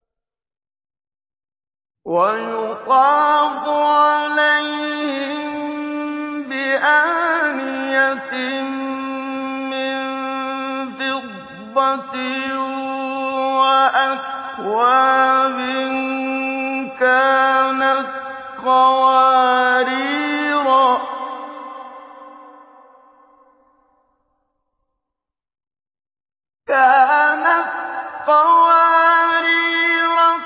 وَيُطَافُ عَلَيْهِم بِآنِيَةٍ مِّن فِضَّةٍ وَأَكْوَابٍ كَانَتْ قَوَارِيرَا